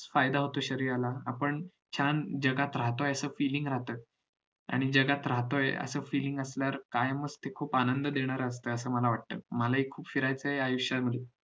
फायदा होतो शरीराला आपण छान जगात राहतोय याच feeling येत आणि जगात राहतोय असं feeling असल्यावर कायमच ते खूप आनंद देणार असतं असं मला वाटत मला हि खुप फिरायचं आहे आयुष्यात